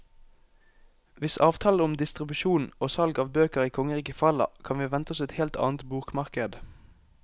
Hvis avtalen om distribusjon og salg av bøker i kongeriket faller, kan vi vente oss et helt annet bokmarked.